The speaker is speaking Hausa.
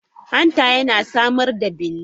Hanta yana samar da bile.